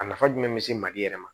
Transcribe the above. A nafa jumɛn be se mali yɛrɛ ma